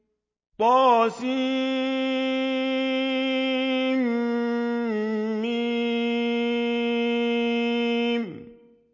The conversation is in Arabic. طسم